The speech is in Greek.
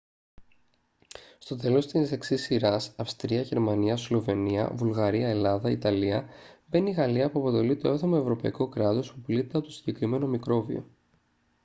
στο τέλος της εξής σειράς αυστρία γερμανία σλοβενία βουλγαρία ελλάδα ιταλία μπαίνει η γαλλία που αποτελεί το 7ο ευρωπαϊκό κράτος που πλήττεται από το συγκεκριμένο μικρόβιο